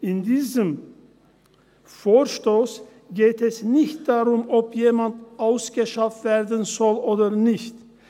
In diesem Vorstoss geht es darum, ob jemand ausgeschafft werden soll oder nicht.